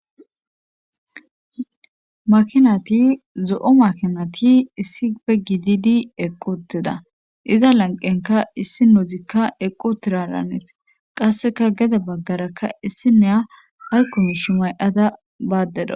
Makinati zo7o makinati issi pe gididi eqquteda iza lanqenka issi nouzikka eqqu tiralanet qasseka geda baggarakka issi neya haykkon shu may7ada baaddeda.